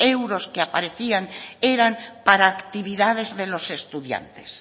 euros que aparecían era para actividades de los estudiantes